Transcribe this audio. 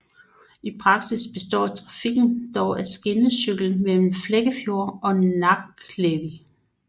I praksis består trafikken dog af skinnecykler mellem Flekkefjord og Bakkekleivi